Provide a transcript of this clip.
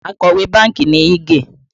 Akọ̀wé bánkì ni Ige